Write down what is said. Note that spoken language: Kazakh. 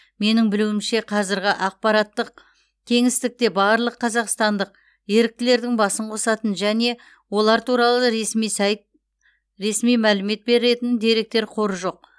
менің білуімше қазіргі ақпараттық кеңістікте барлық қазақстандық еріктілердің басын қосатын және олар туралы ресми сайт ресми мәлімет беретін деректер қоры жоқ